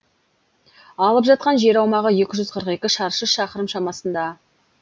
алып жатқан жер аумағы екі жүз қырық екі шаршы шақырым шамасында